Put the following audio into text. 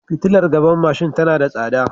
Fitiilar gaban mashin tana da tsada.